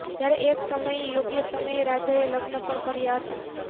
જયારે એક સમયે યોગ્ય સમયે રાજાએ લગ્ન પણ કર્યા હતા